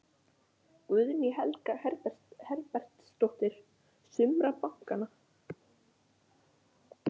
Guðný Helga Herbertsdóttir: Sumra bankanna?